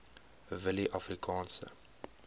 willieafrikaanse